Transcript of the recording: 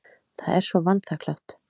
Það er svo vanþakklátt.